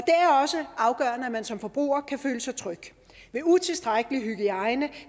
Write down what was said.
er også afgørende at man som forbruger kan føle sig tryg ved utilstrækkelig hygiejne